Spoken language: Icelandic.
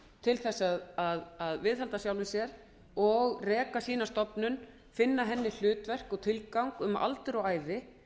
til að viðhalda sjálfum sér og reka sína stofnun finna henni hlutverk og tilgang um aldur og ævi